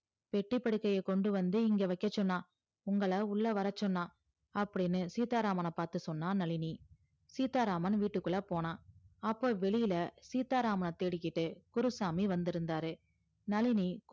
பேட்டி படுக்கையே கொண்டு வந்து இங்க வைக்க சொன்னா உங்கள உள்ள வர சொன்னா அப்டின்னு சீத்தாராமன்ன பாத்து சொன்னா நழினி சீத்தாராமன் வீட்டுக்குள்ள போனா அப்போ வெளில சீத்தாராமன்ன தேடிகிட்டு குருசாமி வந்து இருந்தாரு நளினி